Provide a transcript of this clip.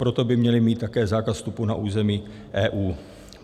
Proto by měli mít také zákaz vstupu na území EU.